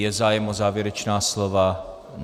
Je zájem o závěrečná slova?